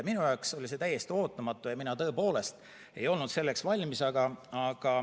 Minu jaoks oli see täiesti ootamatu ja mina tõepoolest ei olnud selleks valmis.